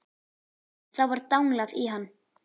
En þá var danglað í hann.